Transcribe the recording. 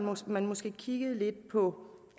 man måske kiggede lidt på